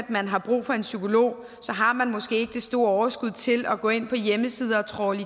at man har brug for en psykolog har man måske ikke det store overskud til at gå ind på hjemmesiden og trawle